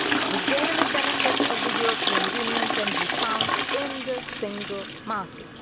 The daily benefits of the European Union can be found in the single market.